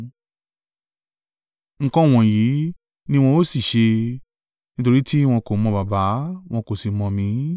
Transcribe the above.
Nǹkan wọ̀nyí ni wọ́n ó sì ṣe, nítorí tí wọn kò mọ Baba, wọn kò sì mọ̀ mí.